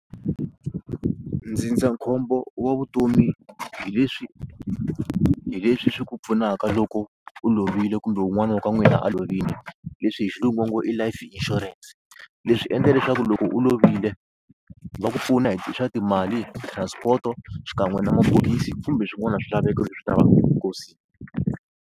Ndzindzakhombo wa vutomi hi leswi hi leswi swi ku pfunaka loko u lovile kumbe wun'wana wa ka n'wina a lovile leswi hi xilungu va ngo i life insurance leswi endla leswaku loko u lovile va ku pfuna hi swa timali, transport xikan'we na mapholisi kumbe swin'wana swilaveko leswi lavaka eminkosini.